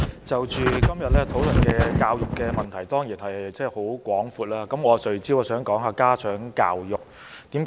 代理主席，今天討論教育的問題，範圍當然十分廣闊，我想聚焦談談家長教育。